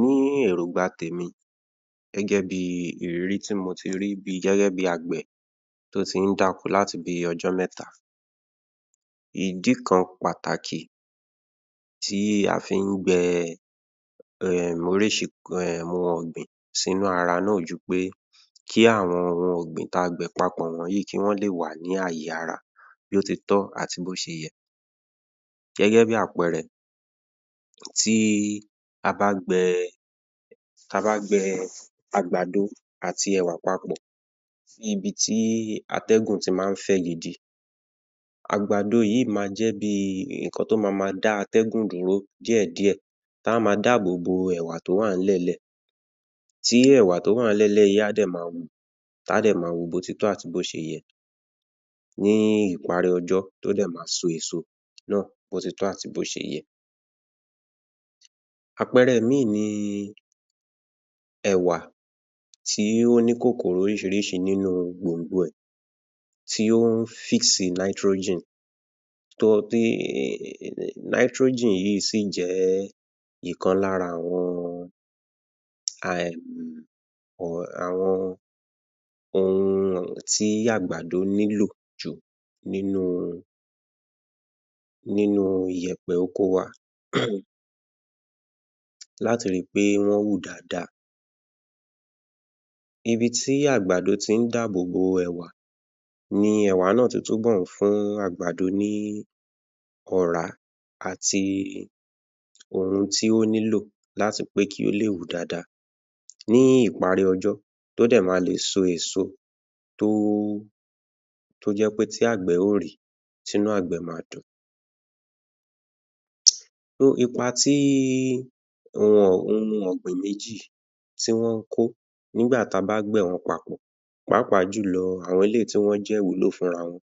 Ní èróngbà tèmi gẹ́gẹ́ bí ìrírí tí mo ti rí bí gẹ́gẹ́ bí agbẹ̀ tó tín dáko láti bí ọjọ́ mẹ́ta, ìdí kan pàtàkì tí a fi ń gbẹ oríṣi um nǹkan ọ̀gbìn nínú ara náà kò jù pé kí àwọn ọ̀gbìn tí a gbìn papọ̀ yìí kọ́ lè wà ní ayé ara bí ó ti tọ́ àti bí ó ti yẹ gẹ́gẹ́ bí àpẹẹrẹ, tí a bá gbẹ tí a bá gẹ àgbàdo àti ẹ̀wà papọ̀ ibi tí atẹ́gùn ti máa ń fẹ́ gidi. Àgbàdo yìí ma jẹ́ bí ìkan tí ó mama dá atẹ́gùn dúró díẹ̀ díẹ̀ tí á ó ma dábòbo ẹ̀wà tí ó wà ní ilẹ̀ nílẹ̀ tí ẹ̀wà tí ó wà nílè ni ilẹ̀ yìí á ma wù tí á dẹ̀ ma wù bí ó ti tọ́ àti bí ó ṣe yẹ ní ìparí ọjọ́ tí ó dè ma so èso náà bí ó ti tọ́ àti bó ti yẹ. Àpẹẹrẹ ìmíì ni ẹ̀wà tí ó ní kòkòrò oríṣiríṣi nínú gbòngbòn rẹ̀ tí ó ń tí um yìí sì jẹ́ ọ̀kan lára àwọn um àwọn ohun tí àgbàdo nílò jù nínú nínú ìyẹ̀pẹ̀ oko wa la tí rí pé wọn wù dada. Ibi tí àgbàdo tí ń dábòbo ẹ̀wà ni ẹ̀wà na tún bọ̀ fún àgbàdo ní ọ̀rá àti ohun tí ó nílò láti láti pé kí ó lè wù dáàda, ní ìparí ọjọ́ tí ó dé lè so èso tí ó jẹ pe àgbẹ̀ yóò rìí tí inú àgbẹ̀ ma dùn ipa tí ohun ọ̀gbìn méjì tí wọ́n ń kó nígbà tí a bá gbìn wọn papọ̀, páapa jùlọ àwọn eléyìí tí wọ́n jẹ́ ìwúlò fún ara wọn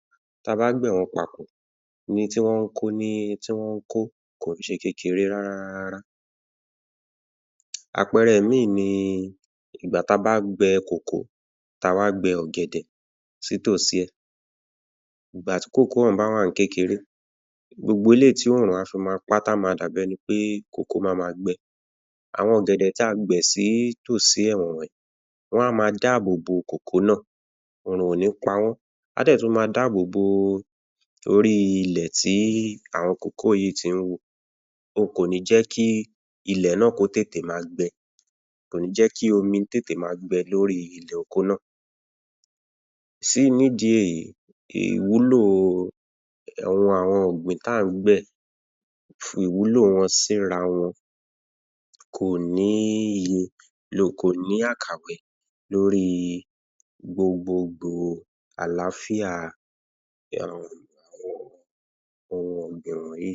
tí a bá gbìn wọ́n papọ̀ ni ti wọ́n ń kó kì í ṣe kékeré rárá rá, àpẹẹrẹ mìíràn ni ìgbà tí a bá gbe tí a wà gbe ọ̀gẹ̀dẹ̀ sí ìtòsí rẹ̀, nígbà tí òhún bá wà ní kékeré gbogbo eléyìí tí oòrùn fi mapá ti a ma dàbí ẹni pé mama gbe, àwọn ọ̀gẹ̀dẹ̀ tí a gbẹ̀ sí ìtòsí rẹ̀ wọn a ma dábòbo náà, oòrùn kò ní pa wọ́n, á dè tún ma dábòbo orí ilẹ̀ tí àwọn yìí tí ń wù. Kò ní jẹ́ kí ilẹ̀ náà kó tètè ma gbe, kò ní jẹ́ kí omi tètè ma gbẹ lórí ilẹ̀ oko náà sì nî ìdí èyí, ìwúlò àwọn ohun ọ̀gbìn tí a ń gbẹ̀ fi ìwúlò wọn sí ara wọn kò ní yí, kò ní àkàwé lórí gbogbogbò àlàáfíà àwọn ohun nǹkan ìgbìn wọ̀nyìí